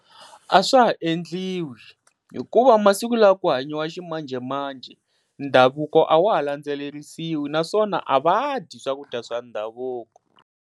A swa ha endliwi hikuva masiku lawa ku hanyiwa ximanjhemanjhe, ndhavuko a wa ha landzelerisiwi naswona a va dyi swakudya swa ndhavuko.